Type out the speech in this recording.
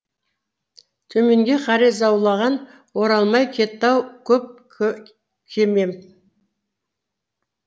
төменге қарай заулаған оралмай кетті ау көп кемем